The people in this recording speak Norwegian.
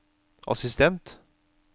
assistent